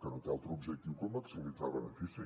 que no té altre objectiu que maximitzar benefici